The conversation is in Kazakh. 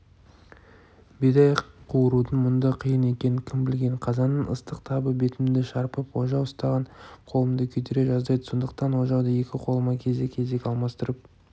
бидай қуырудың мұндай қиын екенін кім білген қазанның ыстық табы бетімді шарпып ожау ұстаған қолымды күйдіре жаздайды сондықтан ожауды екі қолыма кезек-кезек алмастырып